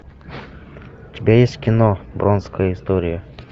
у тебя есть кино бронкская история